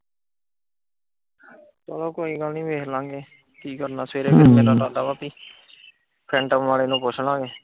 ਉਹ ਕੋਈ ਗੱਲ ਨੀ ਵੇਖਲਾਂਗੇ ਕਿ ਕਰਨਾ ਸਵੇਰੇ ਵੇਹੇ ਮੇਰਾ ਇਰਾਦਾ ਆ ਕਿ ਸੈਟਮ ਵਾਲੇ ਨੂੰ ਪੁੱਛਲਾਗੇ।